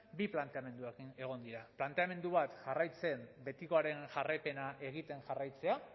bi planteamendu egon dira planteamendu bat betikoaren jarraipena egiten jarraitzea